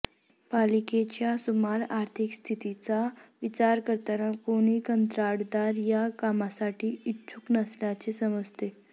पालिकेच्या सुमार आर्थिक स्थितीचा विचार करता कोणी कंत्राटदार या कामांसाठी इच्छुक नसल्याचे समजते